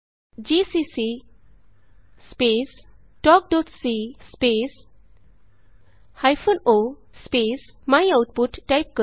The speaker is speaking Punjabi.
ਜੀਸੀਸੀ ਸਪੇਸ talkਸੀ space hyphen o space my output type ਕਰੋ